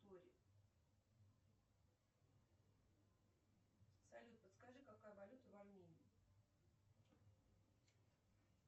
салют подскажи какая валюта в армении